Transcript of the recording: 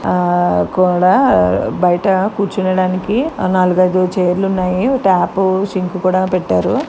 ఆ కూడా ఆ బయట కూర్చునడానికి నాలుగైధు చైర్ లు ఉన్నాయి టాప్ ఉ సింక్ పెట్టారు.